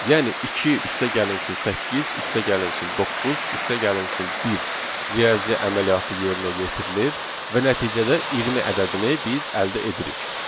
Yəni 2 + 8 + 9 + 1 riyazi əməliyyatı yerinə yetirilir və nəticədə 20 ədədini biz əldə edirik.